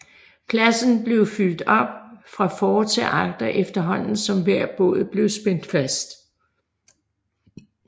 Pladsen blev fyldt op fra for til agter efterhånden som hver båd blev spændt fast